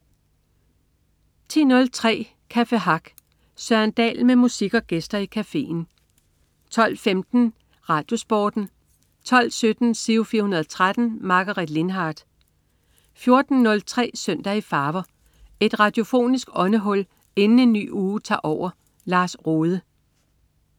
10.03 Café Hack. Søren Dahl med musik og gæster i cafeen 12.15 RadioSporten 12.17 Giro 413. Margaret Lindhardt 14.03 Søndag i farver. Et radiofonisk åndehul inden en ny uge tager over. Lars Rohde